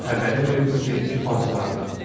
Xəbəri verim sizə iki bacılardan.